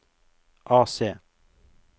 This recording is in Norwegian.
AC